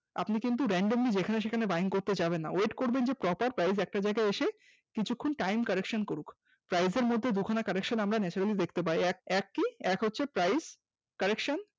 আপনি কিন্তু randamly যেখানে সেখানে Buying করতে যাবেন না, wait করবেন যে proper price একটা জায়গায় এসে কিছুক্ষণ time correction করুক, price এরমধ্যে আমরা দুখানা correction naturally দেখতে পাই এক কি এক হচ্ছে price correction